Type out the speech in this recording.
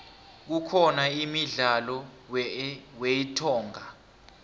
kukhona imdlalo weentonga